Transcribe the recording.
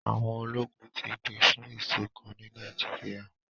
Àwọn ológun ti pè fún ìṣọ̀kán ni Nàìjíríà.